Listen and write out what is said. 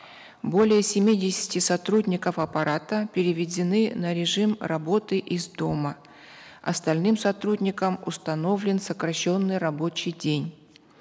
более семидесяти сотрудников аппарата переведены на режим работы из дома остальным сотрудникам установлен сокращенный рабочий день